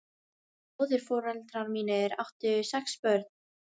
Móðurforeldrar mínir áttu sex börn.